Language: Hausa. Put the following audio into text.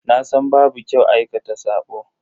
Nasan babu kyau aikata sabo.